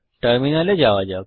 টার্মিনালে যাওয়া যাক